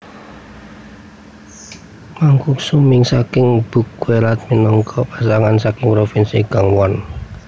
Makguksu mi saking buckwheat minangka masakan saking provinsi Gangwon